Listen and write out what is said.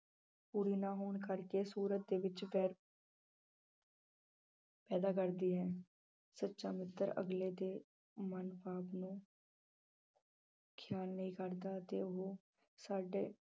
ਪੂਰੀ ਨਾ ਹੋਣ ਕਰਕੇ ਸੂਰਤ ਦੇ ਵਿੱਚ ਵੈਰ ਪੈਦਾ ਕਰਦੀ ਹੈ, ਸੱਚਾ ਮਿੱਤਰ ਅਗਲੇ ਦੇ ਖਿਆਲ ਨਹੀਂ ਕਰਦਾ ਅਤੇ ਉਹ ਸਾਡੇ